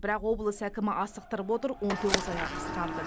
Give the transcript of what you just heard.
бірақ облыс әкімі асықтырып отыр он тоғыз айға қысқарды